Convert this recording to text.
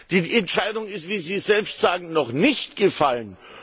Die Entscheidung ist wie Sie selbst sagen noch nicht gefallen.